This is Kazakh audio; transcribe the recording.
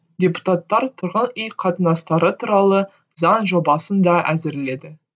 депутаттар тұрған үй қатынастары туралы заң жобасын да әзірледі